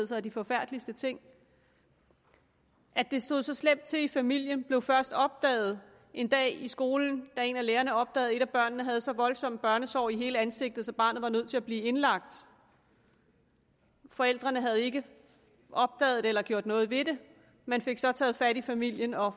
sig de forfærdeligste ting at det stod så slemt til i familien blev først opdaget en dag i skolen da en af lærerne opdagede at et af børnene havde så voldsomme børnesår i hele ansigtet så barnet var nødt til at blive indlagt forældrene havde ikke opdaget det eller gjort noget ved det man fik så taget fat i familien og